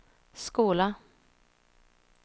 skola